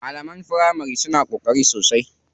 Malaman firamari suna ƙoƙari sosai.